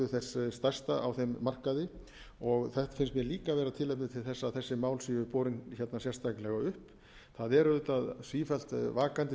þess stærsta markaði og það finnst mér líka vera tilefni til þess að þessi mál séu borin hérna sérstaklega upp það er auðvitað sífellt vakandi